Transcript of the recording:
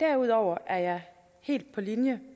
derudover er jeg helt på linje